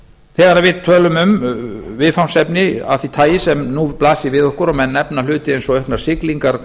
þegar við tölum um viðfangsefni af því tagi sem nú blasir við okkur og menn nefna hluti eins og auknar siglingar